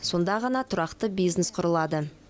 сонда ғана тұрақты бизнес құрылады